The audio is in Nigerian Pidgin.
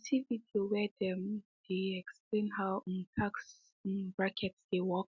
he see video where them um dey explain how um tax um brackets dey work